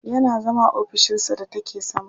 Yana zama a ofishinsa da take sama.